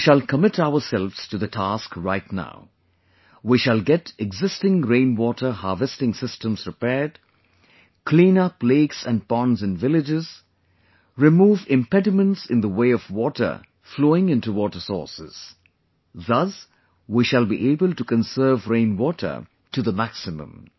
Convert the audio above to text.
We shall commit ourselves to the task right now...we shall get existing rain water harvesting systems repaired, clean up lakes and ponds in villages, remove impediments in the way of water flowing into water sources; thus we shall be able to conserve rainwater to the maximum